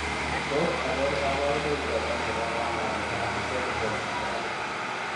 Tos achon kabarunaik choton chebo kanamet ab vitelliform en neranik ?